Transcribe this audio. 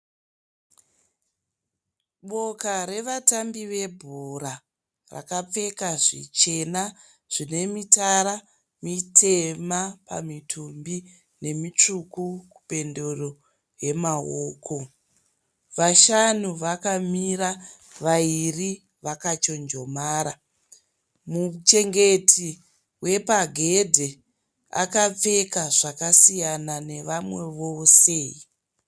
Boka revatambi vebhora vakapfeka zvichena zvine mitara mitema pamitumbi nemitsvuku mupendero yemaoko vashanu vakamira vaviri vakachonjomara muchengeti wepagedhi akapfeka zvakasiyana nevamwe vose.